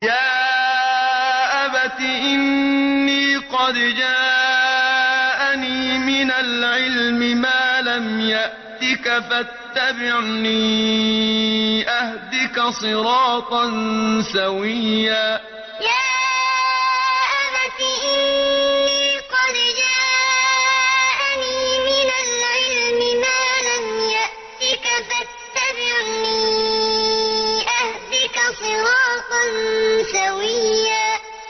يَا أَبَتِ إِنِّي قَدْ جَاءَنِي مِنَ الْعِلْمِ مَا لَمْ يَأْتِكَ فَاتَّبِعْنِي أَهْدِكَ صِرَاطًا سَوِيًّا يَا أَبَتِ إِنِّي قَدْ جَاءَنِي مِنَ الْعِلْمِ مَا لَمْ يَأْتِكَ فَاتَّبِعْنِي أَهْدِكَ صِرَاطًا سَوِيًّا